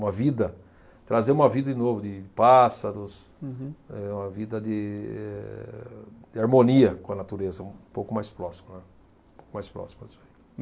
uma vida, trazer uma vida de novo, de pássaros. Uhum. É uma vida de, de harmonia com a natureza, um pouco mais próximo, né. Um pouco mais próximo